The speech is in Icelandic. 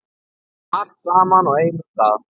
Allt saman á einum stað.